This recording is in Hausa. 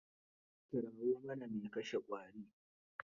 Kirawo mana mai kashe ƙwarin.